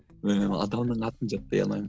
ыыы адамның атын жаттай алмаймын